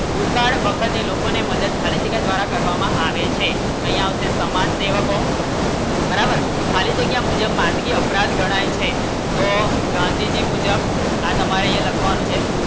દુકાળ વખતે લોકોને મદદ ખાલી જગ્યા દ્વારા કરવામાં આવે છે કંઈ આવશે સમાજસેવકો બરાબર ખાલી જગ્યા અપરાધ ગણાય છે તો ગાંધીજી મુજબ આ તમારે લખવાનું છે